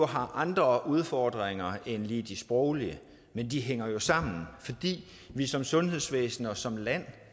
har andre udfordringer end lige de sproglige men de hænger jo sammen fordi vi som sundhedsvæsen og som land